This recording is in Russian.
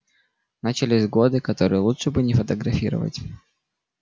начались годы которые лучше бы не фотографировать